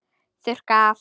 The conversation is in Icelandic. Þurrka af.